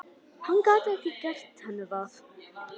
Hann gat ekki gert henni það.